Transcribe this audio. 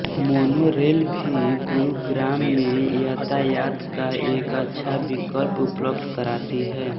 mono rail भी गुरुग्राम में यातायात का एक अच्छा विकल्प उपलब्ध कराती है